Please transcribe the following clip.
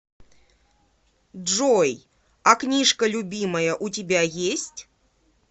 джой а книжка любимая у тебя есть